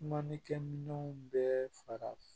Kumanikɛminɛnw bɛɛ fara